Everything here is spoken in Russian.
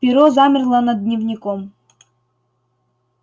перо замерло над дневником